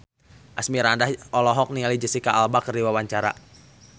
Asmirandah olohok ningali Jesicca Alba keur diwawancara